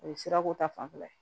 O ye sirako ta fanfɛla ye